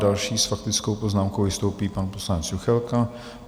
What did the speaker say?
Další s faktickou poznámkou vystoupí pan poslanec Juchelka.